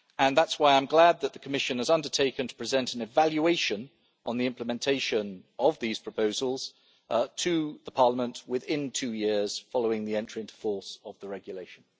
That is why I am glad that the Commission has undertaken to present an evaluation on the implementation of these proposals to Parliament within two years following the entry into force of the regulation.